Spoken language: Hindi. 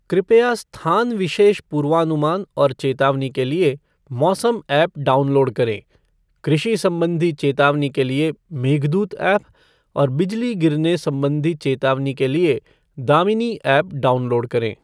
कृपया स्थान विशेष पूर्वानुमान और चेतावनी के लिए मौसम ऐप डाउनलोड करें, कृषि संबंधी चेतावनी के लिए मेघदूत ऐप और बिजली गिरने संबंधी चेतावनी के लिए दामिनी ऐप डाउनलोड करें।